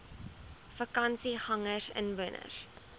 vakansiegangersinwoners